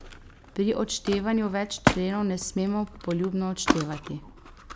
Pri odštevanju več členov ne smemo poljubno odštevati.